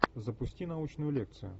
запусти научную лекцию